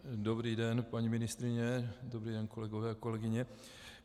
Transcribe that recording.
Dobrý den, paní ministryně, dobrý den, kolegové a kolegyně.